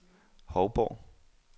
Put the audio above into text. Hovborg